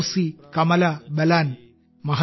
Kosi Kamala ബലാനും